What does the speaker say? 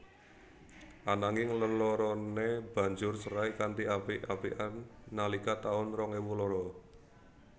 Ananging leloroné banjur cerai kanthi apik apikan nalika taun rong ewu loro